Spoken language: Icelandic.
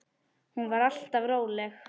Hún var alltaf róleg.